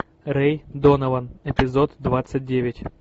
рэй донован эпизод двадцать девять